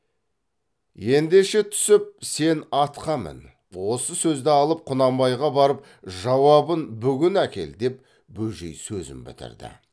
ендеше түсіп сен атқа мін осы сөзді алып құнанбайға барып жауабын бүгін әкел деп бөжей сөзін бітірді